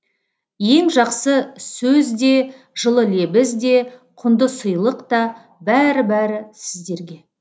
ең жақсы сөз де жылы лебіз де құнды сыйлық та бәрі бәрі сіздерге